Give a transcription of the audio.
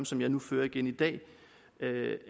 som jeg nu fører igen i dag